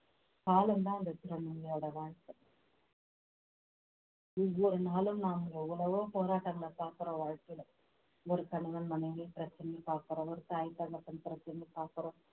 காலம்தான் அந்த திருநங்கையோட வாழ்க்கை ஒவ்வொரு நாளும் நாங்க எவ்வளவோ போராட்டங்களை பார்க்கிறோம் வாழ்க்கையில ஒரு கணவன் மனைவி பிரச்சனைய பார்க்கிறோம் ஒரு தாய் தகப்பன் பிரச்சனைய பார்க்கிறோம்